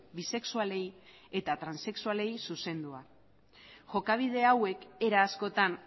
bisexualei eta transexualei zuzendua jokabide hauek era askotan